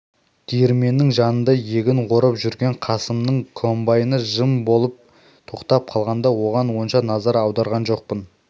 диірменнің жанында егін орып жүрген қасымның комбайны жым болып тоқтап қалғанда оған онша назар аударған жоқпын